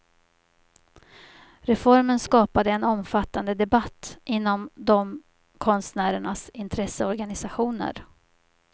Reformen skapade en omfattande debatt inom de konstnärernas intresseorganisationer.